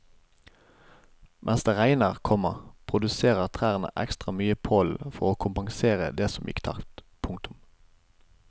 Mens det regner, komma produserer trærne ekstra mye pollen for å kompensere det som gikk tapt. punktum